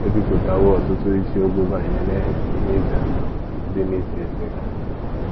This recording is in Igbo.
ebipụtawo ọtụtụ isiokwu banyere ihe ize ndụ dị n’ise siga. ”